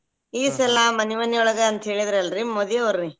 ಈ ಸಲ ಮನಿ ಮನಿಯೊಳಗ ಅಂತೇಳಿದಲ್ರಿ ಮೋದಿಯವ್ರುರಿ.